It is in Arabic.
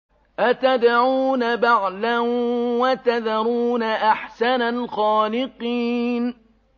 أَتَدْعُونَ بَعْلًا وَتَذَرُونَ أَحْسَنَ الْخَالِقِينَ